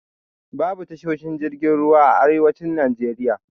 Babu tashoshin jirgin ruwa a arewacin Najeriya.